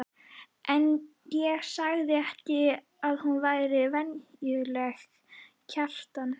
En ég sagði þér að hún væri væntanleg, Kjartan.